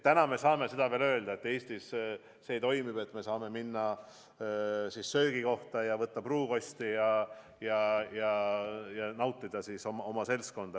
Täna me saame veel seda öelda, et Eestis see toimib, et me saame minna söögikohta ja võtta pruukosti ja nautida oma seltskonda.